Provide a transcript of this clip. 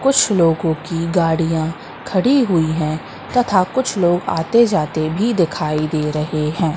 कुछ लोगों की गाड़ियां खड़ी हुई है तथा कुछ लोग आते जाते भी दिखाई दे रहे हैं।